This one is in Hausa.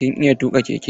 Kin iya tuƙa keke?